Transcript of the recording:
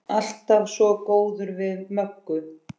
Alltaf svo góður við Möggu.